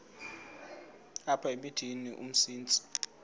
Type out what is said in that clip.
apha emithini umsintsi